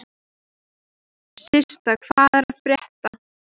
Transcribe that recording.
Systa, hvað er að frétta?